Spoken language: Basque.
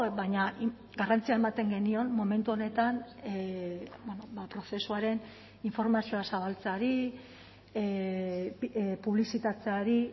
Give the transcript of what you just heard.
baina garrantzia ematen genion momentu honetan prozesuaren informazioa zabaltzeari publizitatzeari